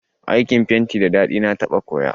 Aikin fenti da daɗi, na taɓa koya